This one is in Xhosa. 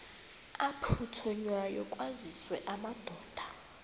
aphuthunywayo kwaziswe amadoda